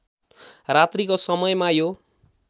रात्रिको समयमा यो